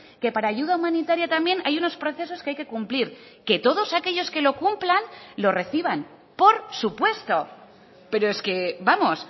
que para ayuda humanitaria también hay unos procesos que hay que cumplir que todos aquellos que lo cumplan lo reciban por supuesto pero es que vamos